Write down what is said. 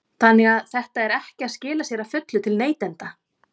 Þannig að þetta er ekki að skila sér að fullu til neytenda?